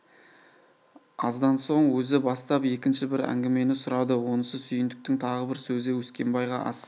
аздан соң және өзі бастап екінші бір әңгімені сұрады онысы сүйіндіктің тағы бір сөзі өскембайға ас